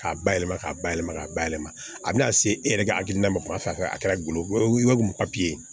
K'a bayɛlɛma k'a bayɛlɛma k'a bayɛlɛma a bɛna se e yɛrɛ ka hakilina ma kuma fɔ a fɛ a kɛra golo ye o ye papiye